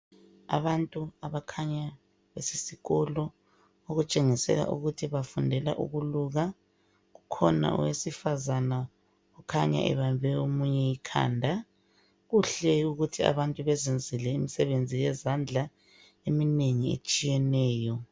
Abantu abakhanya besesikolo okutshengisela ukuthi bafundela ukuluka. Kukhona owesifazana okhanya ebambe omunye ikhanda. Kuhle ukuthi abantu beziyenzele imisebenzi yezandla eminengi etshiyeneyo.